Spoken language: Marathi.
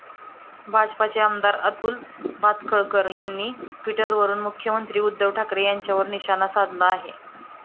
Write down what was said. भाजपचे आमदार अतुल भातखळकर यांनी ट्विटरवरून मुख्यमंत्री उद्धव ठाकरे यांच्यावर निशाणा साधला आहे.